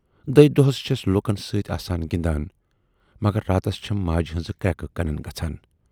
دٔہۍ دۅہَس چھَس لوٗکن سٍتۍ اَسان گِندان مگر راتس چھَم ماجہِ ہٕنزٕ کرٮ۪کہٕ کنَن گژھان۔